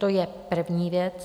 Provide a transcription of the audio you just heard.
To je první věc.